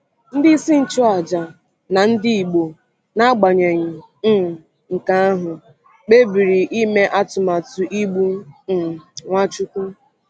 Ndị isi nchụaja na ndị Igbo, n’agbanyeghị um nke ahụ, kpebiri ime atụmatụ igbu um Nwachukwu.